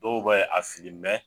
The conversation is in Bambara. Dɔw be ye a fili